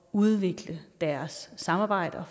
udvikle deres samarbejder